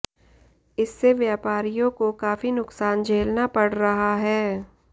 इससे व्यापारियों को काफी नुकसान झेलना पड़ रहा है